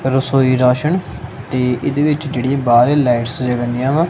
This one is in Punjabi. ਰਸੋਈ ਰਾਸ਼ਨ ਤੇ ਇਹਦੇ ਵਿੱਚ ਜਿਹੜੀ ਏ ਬਾਹਰ ਏ ਲਾਈਟਸ ਜਗੰਦਿਆਂ ਵਾਂ।